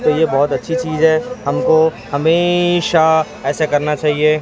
ये बहोत अच्छी चीज है हमको हमेशा ऐसे करना चाहिए।